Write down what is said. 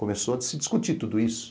Começou a se discutir tudo isso.